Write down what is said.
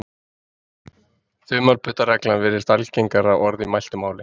þumalputtaregla virðist algengara orð í mæltu máli